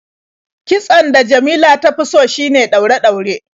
Kitson da Jamila ta fi so shine ɗaure-ɗaure.